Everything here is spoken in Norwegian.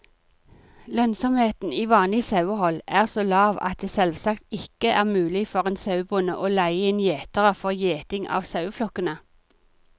Lønnsomheten i vanlig sauehold er så lav at det selvsagt ikke er mulig for en sauebonde å leie inn gjetere for gjeting av saueflokkene.